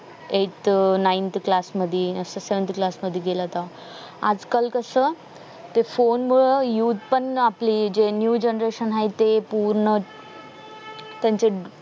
eight nine to class मधी असं seventy to class मध्ये गेला होता आज काल कस ते phone मुळ use पण आपली new generation हाय ते पूर्ण त्यांचे